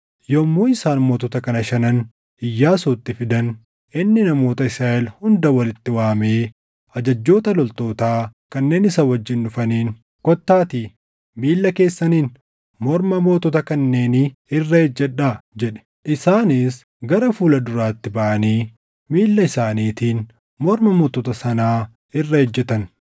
Yommuu isaan mootota kana shanan Iyyaasuutti fidan, inni namoota Israaʼel hunda walitti waamee ajajjoota loltootaa kanneen isa wajjin dhufaniin, “Kottaatii miilla keessaniin morma mootota kanneenii irra ejjadhaa” jedhe. Isaanis gara fuula duraatti baʼanii miilla isaaniitiin morma mootota sanaa irra ejjetan.